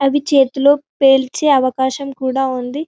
అది చేతిలో పేల్చే అవకాశం కూడా ఉంది--